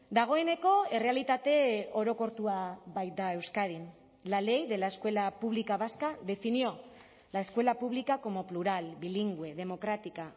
dagoeneko errealitate orokortua baita euskadin la ley de la escuela pública vasca definió la escuela pública como plural bilingüe democrática